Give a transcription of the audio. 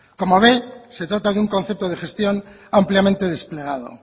como ve se trata de un concepto de gestión ampliamente desplegado